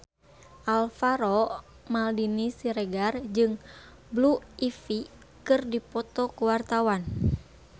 Alvaro Maldini Siregar jeung Blue Ivy keur dipoto ku wartawan